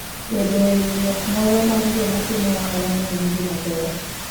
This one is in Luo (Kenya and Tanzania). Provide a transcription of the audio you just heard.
Bedo e riwruok moro mar joma timo ohalano en gima ber.